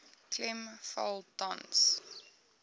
klem val tans